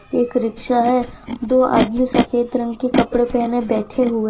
एक रिक्शा है दो आदमी सफेद रंग के कपड़े पहने बैठे हुए --